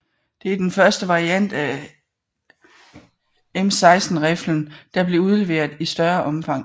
Det er den første variant af M16 riflen der blev udleveret i større omfang